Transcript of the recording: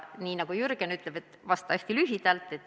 Nii nagu Jürgen ütleb, et vasta hästi lühidalt.